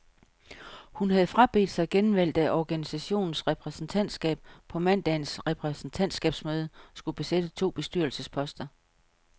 Hun havde frabedt sig genvalg, da organisationens repræsentantskab på mandagens repræsentantskabsmøde skulle besætte to bestyrelsesposter.